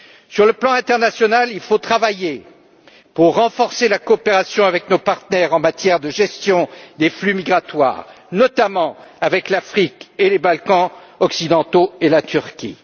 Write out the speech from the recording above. Sur le plan international, il faut travailler pour renforcer la coopération avec nos partenaires en matière de gestion des flux migratoires, notamment avec l'Afrique, les Balkans occidentaux et la Turquie.